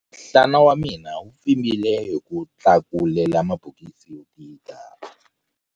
Nhlana wa mina wu pfimbile hi ku tlakulela mabokisi yo tika.